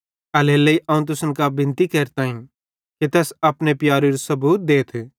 एल्हेरेलेइ अवं तुसन कां बिनती केरताईं कि तैस अपने प्यारेरू सबूत देथ